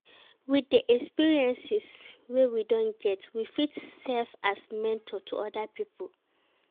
With the experiences wey we don get, we fit serve as mentor to oda pipo